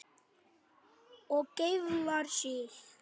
Og geiflar sig.